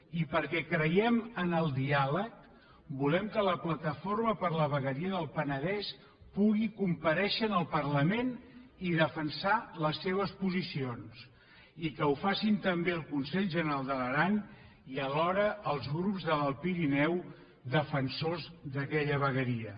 i perquè creiem en el diàleg volem que la plataforma per la vegueria del penedès pugui comparèixer en el parlament i defensar les seves posicions i que ho facin també el consell general de l’aran i alhora els grups de l’alt pirineu defensors d’aquella vegueria